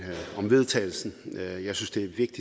næste